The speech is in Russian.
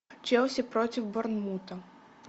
челси против борнмута